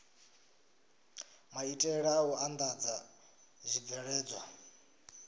maitele a u andadza zwibveledzwa